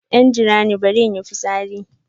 Dan jirani, bari in yi fitsari.